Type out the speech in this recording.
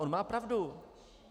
On má pravdu.